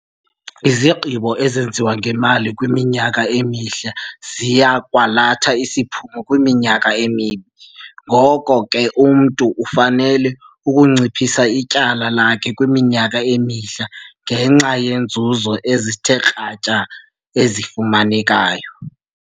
Izigqibo ezenziwe ngemali kwiminyaka emihle ziya kwalatha isiphumo kwiminyaka emibi. Ngoko ke umntu ufanele ukunciphisa ityala lakhe kwiminyaka emihle ngenxa yeenzuzo ezithe kratya ezifumanekayo.